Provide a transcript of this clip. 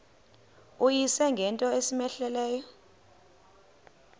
uyise ngento cmehleleyo